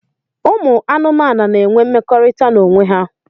Ụmụ anụmanụ n'enwe mmekọrịta n'onwe ha.